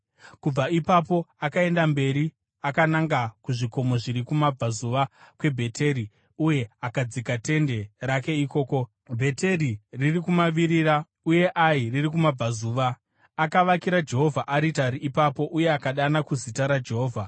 Kubva ipapo akaenda mberi akananga kuzvikomo zviri kumabvazuva kweBheteri uye akadzika tende rake ikoko, Bheteri riri kumavirira uye Ai riri kumabvazuva. Akavakira Jehovha aritari ipapo uye akadana kuzita raJehovha.